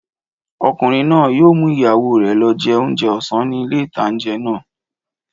Ọkùnrin náà yóò mú ìyàwó rẹ̀ lọ jẹ oúnjẹ ọ̀sán ní ilé ìtánjẹ náà